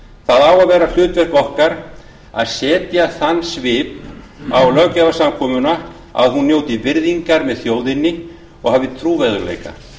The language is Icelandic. það á að vera hlutverk okkar að setja þann svip á löggjafarsamkomuna að hún njóti virðingar með þjóðinni og hafi trúverðugleika